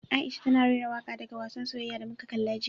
Aisha tana rera waka daga wassan soyayya da muka kalla jiya.